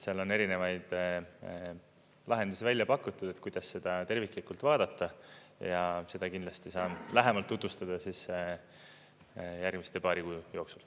Seal on erinevaid lahendusi välja pakutud, kuidas seda terviklikult vaadata ja seda kindlasti saan lähemalt tutvustada järgmise paari kuu jooksul.